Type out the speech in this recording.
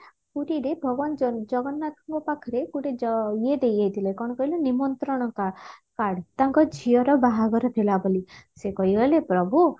ପୁରୀରେ ଭଗବାନ ଜ ଜଗନ୍ନାଥଙ୍କ ପାଖରେ ଗୋଟେ ଜ ଇଏ ଦେଇଯାଇଥିଲେ କଣ କହିଲୁ ନିମନ୍ତ୍ରଣ କା card ତାଙ୍କ ଝିଅର ବାହାଘର ଥିଲା ବୋଲି ସେ କହିଗଲେ ପ୍ରଭୁ